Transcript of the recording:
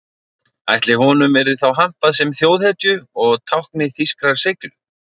Ætli honum yrði þá hampað sem þjóðhetju og tákni þýskrar seiglu?